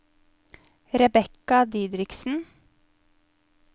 Rebekka Didriksen